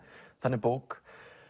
þannig bók